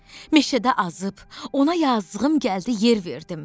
Meşədə azıb, ona yazığım gəldi yer verdim.